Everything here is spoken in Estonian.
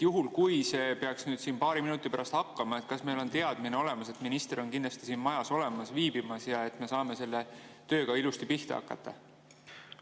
Juhul, kui see peaks nüüd siin paari minuti pärast algama, siis kas meil on olemas teadmine, et minister kindlasti siin majas viibib ja me saame selle tööga ilusti pihta hakata?